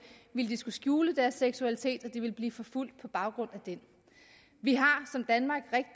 ville de skulle skjule deres seksualitet og de ville blive forfulgt på baggrund af den vi har